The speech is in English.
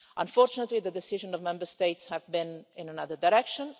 Unfortunately, the decision of Member States has been in another direction.